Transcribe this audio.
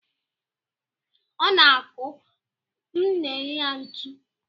Ọ na-akụ, m na-enye ya ntu.